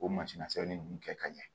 O sɛbɛnni nunnu kɛ ka ɲɛ